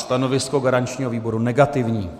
Stanovisko garančního výboru negativní.